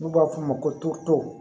N'u b'a f'o ma ko to